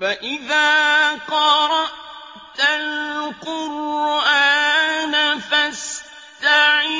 فَإِذَا قَرَأْتَ الْقُرْآنَ فَاسْتَعِذْ